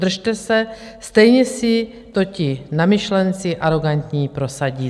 Držte se, stejně si to ti namyšlenci arogantní prosadí.